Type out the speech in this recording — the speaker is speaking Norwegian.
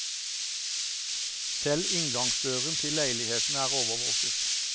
Selv inngangsdøren til leilighetene er overvåket.